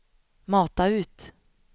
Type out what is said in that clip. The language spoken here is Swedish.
mata ut